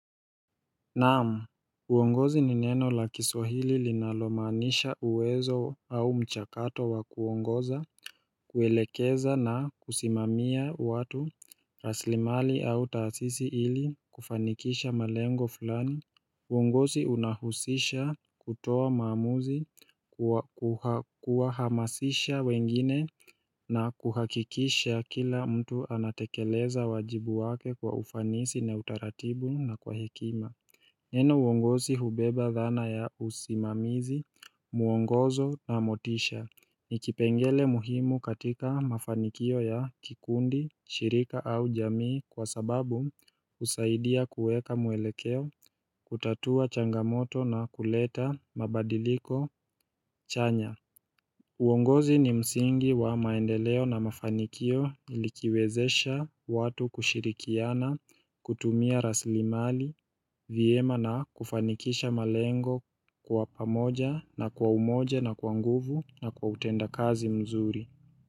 Naam, uongozi ni neno la kiswahili linalomaanisha uwezo au mchakato wa kuongoza, kuelekeza na kusimamia watu, raslimali au taasisi ili, kufanikisha malengo fulani. Uongozi unahusisha kutoa maamuzi, kuahamasisha wengine na kuhakikisha kila mtu anatekeleza wajibu wake kwa ufanisi na utaratibu na kwa hekima. Neno uongosi hubeba dhana ya usimamizi, mwongozo na motisha, nikipengele muhimu katika mafanikio ya kikundi, shirika au jamii kwa sababu usaidia kueka mwelekeo, kutatua changamoto na kuleta, mabadiliko, chanya uongozi ni msingi wa maendeleo na mafanikio ilikiwezesha watu kushirikiana, kutumia rasli mali, vyema na kufanikisha malengo kwa pamoja na kwa umoja na kwa nguvu na kwa utenda kazi mzuri.